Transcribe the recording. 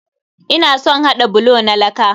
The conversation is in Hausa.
Ina son haɗa bulo na laka.